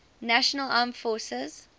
national armed forces